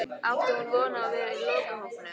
Átti hún von á að vera í lokahópnum?